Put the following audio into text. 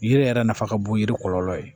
Yiri yɛrɛ nafa ka bon yiri kɔlɔlɔ ye